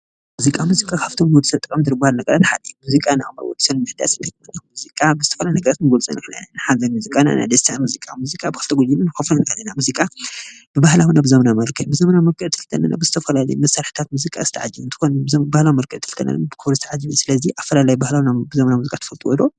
ሙዚቃ ሙዚቃ ካብቶም ጠቀምቲ ዝባሀሉ ነገራት ሓደ ሙዚቃ ናብሩኡ ሰብ ንምሕዳስ ሙዚቃ ንዝተፈላለዩ ነገራት ክንገልፆ ንክእል ኢና ሓደ ሙዚቃ ብክልተ ነገር ክንሪኦ ንክእል ኢና ሙዚቃ ብባህላዊ እነ በዘበናዊ መልክዕ እንትንብል ከለና ብክልተ መልክዕ የስተዓጅብ ኦኬ ብዘበናዊ መልክዕ ክንብል ከለና ዝተፈላለዩ መሳርሒታት ዝተቀየሩ እንትኮን እዞም ባህላዊ መሳርሒታት ይበሃሉ ፡፡ስለ ዚባሀላዊ እና ዘመናዊ መሳርሒታት ዝበሃሉ ትፈልጥዎም ዶ?